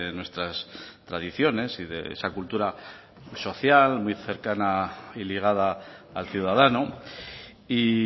nuestras tradiciones y de esa cultura social muy cercana y ligada al ciudadano y